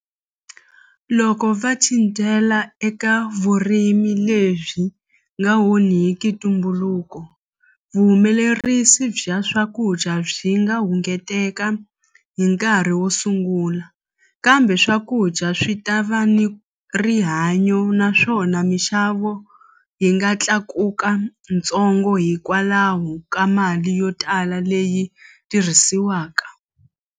Loko va cincela eka vurimi lebyi nga onhiki ntumbuluko vuhumelerisi bya swakudya byi nga hungeteka hi nkarhi wo sungula kambe swakudya swi ta va ni rihanyo naswona minxavo yi nga tlakuka ntsongo hikwalaho ka mali yo tala leyi tirhisiwaka.